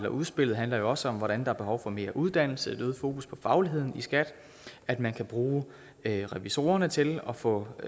udspillet handler jo også om hvordan der er behov for mere uddannelse et øget fokus på fagligheden i skat at man kan bruge revisorerne til at få